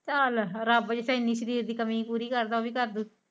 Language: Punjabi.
ਚਲ ਰੱਬ ਜਿਥੇ ਐਨੀ ਸ਼ਰੀਰ ਦੀ ਕਮੀ ਪੂਰੀ ਕਰਦ ਓਵੀ ਕਰਦੂ।